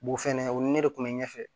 fɛnɛ o ni ne de kun bɛ ɲɛfɛ